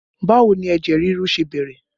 Báwo ni ẹ̀jẹ̀ ríru ṣe bẹ̀rẹ̀?